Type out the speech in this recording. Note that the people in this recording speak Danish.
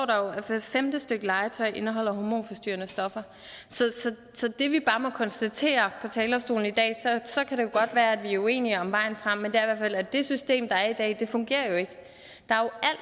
at hvert femte stykke legetøj indeholder hormonforstyrrende stoffer så det vi bare må konstatere fra talerstolen i dag er og så kan det godt være at vi er uenige om vejen frem at det system der er i dag ikke fungerer der er jo